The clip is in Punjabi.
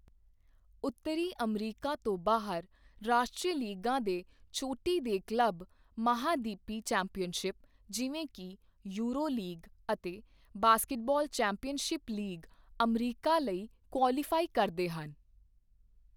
ਉੱਤਰੀ ਅਮਰੀਕਾ ਤੋਂ ਬਾਹਰ, ਰਾਸ਼ਟਰੀ ਲੀਗਾਂ ਦੇ ਚੋਟੀ ਦੇ ਕਲੱਬ ਮਹਾਂਦੀਪੀ ਚੈਂਪੀਅਨਸ਼ਿਪ ਜਿਵੇਂ ਕਿ ਯੂਰੋ ਲੀਗ ਅਤੇ ਬਾਸਕਟਬਾਲ ਚੈਂਪੀਅਨਜ਼ ਲੀਗ ਅਮਰੀਕਾ ਲਈ ਕੁਆਲੀਫਾਈ ਕਰਦੇ ਹਨ।